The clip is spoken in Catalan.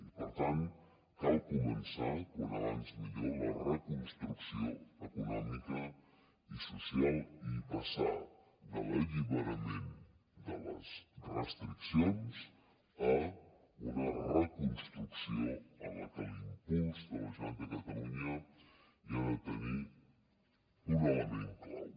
i per tant cal començar com més aviat millor la reconstrucció econòmica i social i passar de l’alliberament de les restriccions a una reconstrucció en què l’impuls de la generalitat de catalunya hi ha de tenir un element clau